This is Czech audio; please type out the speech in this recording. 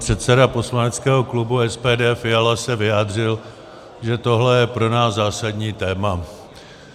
Předseda poslaneckého klubu SPD Fiala se vyjádřil, že tohle je pro nás zásadní téma.